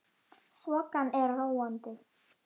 Þokan er róandi